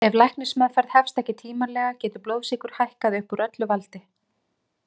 Ef læknismeðferð hefst ekki tímanlega getur blóðsykur hækkað upp úr öllu valdi.